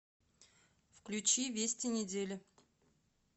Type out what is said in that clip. включи вести недели